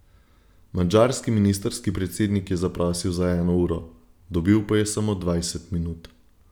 Madžarski ministrski predsednik je zaprosil za eno uro, dobil pa je samo dvajset minut.